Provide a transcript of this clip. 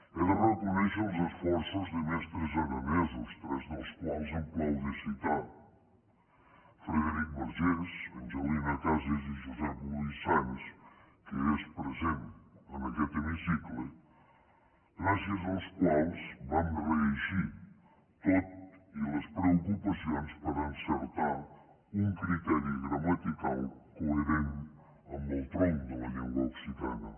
he de reconèixer els esforços de mestres aranesos tres dels quals hem plau de citar frederic vergès angelina cases i jusèp loís sans que és present en aquest hemicicle gràcies als quals vam reeixir tot i les preocupacions per encertar un criteri gramatical coherent amb el tronc de la llengua occitana